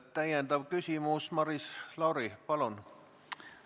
Täpsustav küsimus, Maris Lauri, palun!